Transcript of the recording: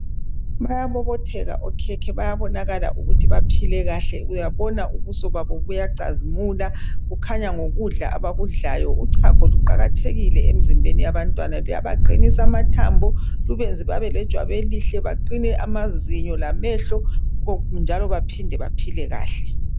Bayabobotheka okhekhe bayabonakala ukuthi baphile kahle uyabona ubuso babo buyacazimula kukhanya ngokudla abakudlayo uchago luqakathekile emzimbeni yabantwana luyabaqinisa amathambo lubenze babelejwabu elihle baqine amazinyo lamehlo koku njalo baphinde baphile kahle